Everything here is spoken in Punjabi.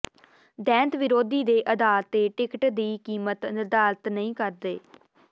ਦੈਂਤ ਵਿਰੋਧੀ ਦੇ ਆਧਾਰ ਤੇ ਟਿਕਟ ਦੀ ਕੀਮਤ ਨਿਰਧਾਰਤ ਨਹੀਂ ਕਰਦੇ